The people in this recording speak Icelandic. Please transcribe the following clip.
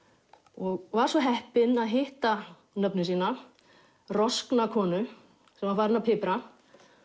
og var svo heppin að hitta nöfnu sína roskna konu sem var farin að pipra